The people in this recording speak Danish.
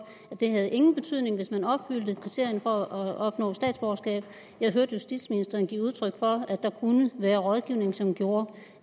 den havde ingen betydning hvis man opfyldte kriterierne for at opnå statsborgerskab jeg hørte justitsministeren give udtryk for at der kunne være rådgivning som gjorde